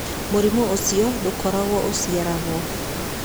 Mũrimũ ũcio ndũkoragwo ũciaragwo.